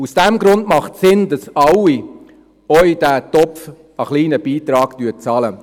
Aus diesem Grund ist es sinnvoll, dass alle einen kleinen Beitrag in diesen Topf einzahlen.